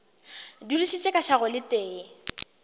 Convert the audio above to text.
dudišitše ka šago le tee